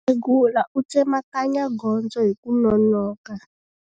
Mukhegula u tsemakanya gondzo hi ku nonoka.